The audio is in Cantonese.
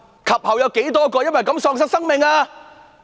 及後有多少人因此而喪命？